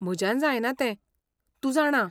म्हज्यान जायना तें, तूं जाणा.